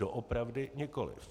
Doopravdy nikoliv.